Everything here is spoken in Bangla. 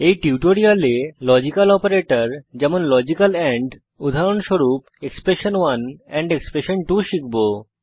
এই টিউটোরিয়ালে লজিক্যাল অপারেটর যেমন লজিক্যাল এন্ড উদাহরণস্বরূপ এক্সপ্রেশন1 এক্সপ্রেশন2 শিখব